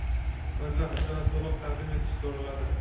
o‘z vaqtida va to‘liq taqdim etish so‘raladi.